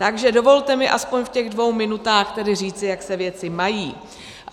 Takže dovolte mi aspoň v těch dvou minutách tedy říci, jak se věci mají.